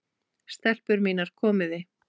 STELPUR MÍNAR, KOMIÐI!